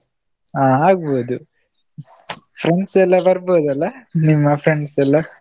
ಹಾ ಆಗ್ಬೋದು. Friends ಎಲ್ಲಾ ಬರ್ಬೋದಲ್ಲ ನಿಮ್ಮ friends ಎಲ್ಲಾ?